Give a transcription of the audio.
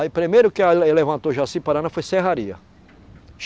Aí primeiro que a le, levantou Jaci-Paraná foi Serraria.